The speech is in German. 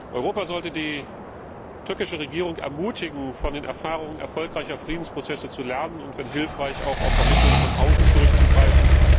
Europa sollte die türkische Regierung ermutigen, von den Erfahrungen erfolgreicher Friedensprozesse zu lernen und wenn hilfreich auch auf Vermittlung von außen zurückzugreifen.